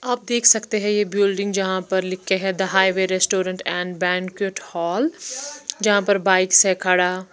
आप देख सकते है ये बिल्डिंग जहां पर लिखे है the highway restaurant and banquet halls जहां पर बाइक्स है खड़ा--